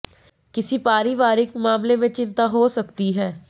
किसी पारिवारिक मामले में चिंता हो सकती है